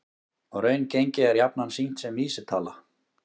Raungengi er jafnan sýnt sem vísitala